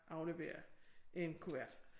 Aflevere en kuvert